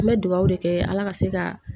An bɛ dugawu de kɛ ala ka se ka